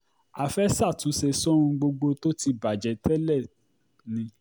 a fẹ́ẹ́ ṣàtúnṣe sóhun gbogbo tó ti bàjẹ́ tẹ́lẹ̀ ni